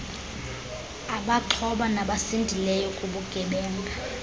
abaxhoba nabasindileyo kubugebenga